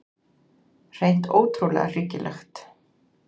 Hreint ótrúlega hryggilegt.